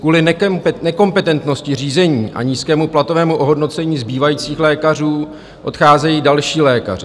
Kvůli nekompetentnosti řízení a nízkému platovému ohodnocení zbývajících lékařů odcházejí další lékaři.